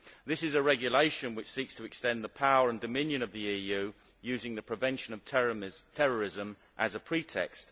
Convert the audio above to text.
This is a regulation which seeks to extend the power and dominion of the EU using the prevention of terrorism as a pretext.